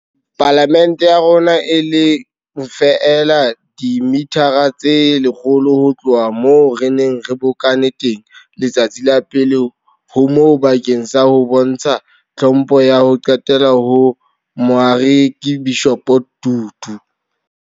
Pala mente ya rona, e leng feela dimithara tse lekgolo ho tloha moo re neng re bokane teng letsatsi pele ho moo bakeng sa ho bontsha tlhompho ya ho qetela ho Moarekabishopo Tutu.